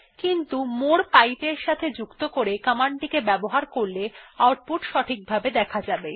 কিন্তু মোরে পাইপ এর সাথে যুক্ত করে কমান্ড টি ব্যবহার করলে এটি সঠিকভাবে দেখা যাবে